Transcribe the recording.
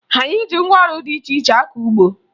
Anyị ji ngwaọrụ dị iche iche akọ ugbo